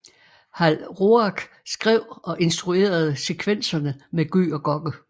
Hal Roach skrev og instruerede sekvenserne med Gøg og Gokke